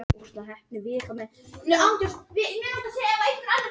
Auðvitað eru úrslitin stórt atriði, og nánast stærsta atriðið.